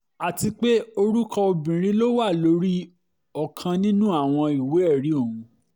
àti pé orúkọ obìnrin ló wà lórí ọ̀kan nínú àwọn ìwé-ẹ̀rí ọ̀hún